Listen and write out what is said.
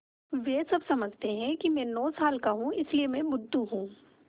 वे सब समझते हैं कि मैं नौ साल का हूँ इसलिए मैं बुद्धू हूँ